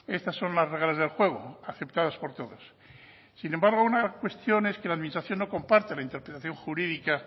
estas son las reglas del juego aceptadas por todos sin embargo una cuestión es que la administración no comparta la interpretación jurídica